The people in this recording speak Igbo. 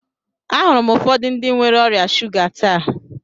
Ahụrụ m ụfọdụ ndị nwere ọrịa shuga taa.